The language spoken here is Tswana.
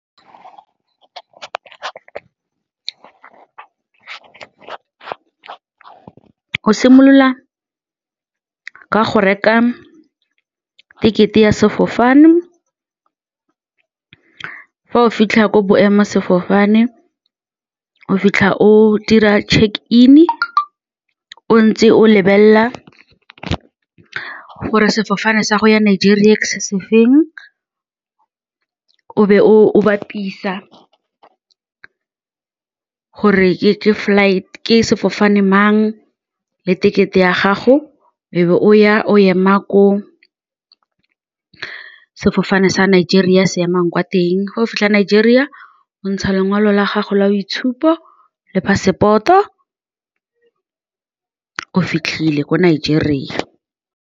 Go simolola ka go reka ticket-e ya sefofane, fa o fitlha ko boemasefofane, o fitlha o dira check in o ntse o lebelela gore sefofane sa go ya Nigeria ke se se feng, o be o bapisa gore ke ke sefofane mang le tekete ya gago o ya o ema ko sefofane sa Nigeria se emang kwa teng. Fa o fitlha ko Nigeria gontsha lengolo la gago la boitshupo le passport-o o fitlhile ko Nigeria.